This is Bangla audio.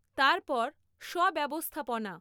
তারপর স্ব ব্যবস্থাপনা